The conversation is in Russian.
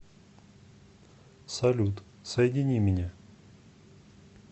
салют соедини меня